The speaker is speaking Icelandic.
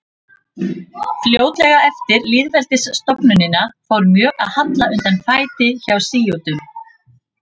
Fljótlega eftir lýðveldisstofnunina fór mjög að halla undan fæti hjá sjítum.